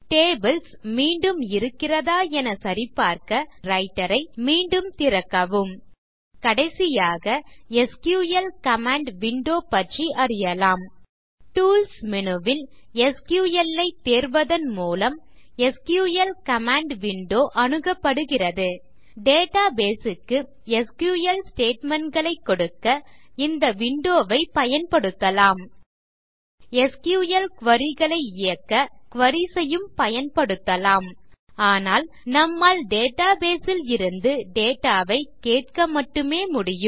tables மீண்டும் இருக்கிறதா என சரிபார்க்க லிப்ரியாஃபிஸ் ரைட்டர் ஐ மீண்டும் திறக்கவும் கடைசியாக எஸ்கியூஎல் கமாண்ட் விண்டோ பற்றி அறியலாம் டூல்ஸ் மேனு ல் எஸ்கியூஎல் ஐ தேர்வதன் மூலம் எஸ்கியூஎல் கமாண்ட் விண்டோ அணுகப்படுகிறது டேட்டாபேஸ் க்கு எஸ்கியூஎல் ஸ்டேட்மெண்ட் களை கொடுக்க இந்த விண்டோ ஐ பயன்படுத்தலாம் எஸ்கியூஎல் குரி களை இயக்க குரீஸ் ஐயும் பயன்படுத்தலாம் ஆனால் நம்மால் டேட்டாபேஸ் ல் இருந்து டேட்டா ஐ கேட்க மட்டுமே முடியும்